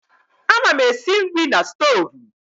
Ana m esi nri na stovu.